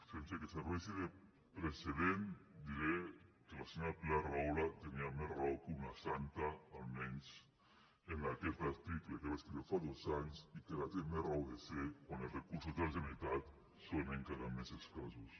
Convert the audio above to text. sense que serveixi de precedent diré que la senyora pilar rahola tenia més raó que una santa almenys en aquest article que va escriure fa dos anys i que ara té més raó de ser quan els recursos de la generalitat són encara més escassos